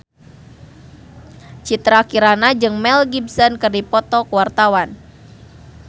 Citra Kirana jeung Mel Gibson keur dipoto ku wartawan